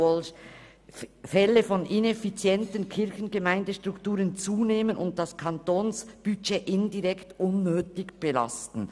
Will sie nun die Kirchgemeinden dazu anspornen, Fusionen vorzunehmen?